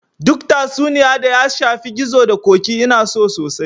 Duk tatsuniya da ya shafi gizo da ƙoƙi Ina so sosai